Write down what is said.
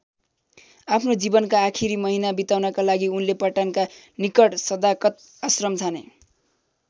आफ्नो जीवनका आखिरी महिना बिताउनका लागि उनले पटनाका निकट सदाकत आश्रम छाने।